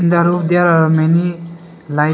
in the room there are many light.